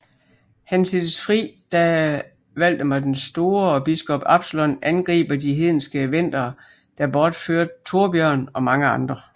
Han sættes fri da Valdemar den Store og biskop Absalon angriber de hedenske vendere der bortførte Thorbjørn og mange andre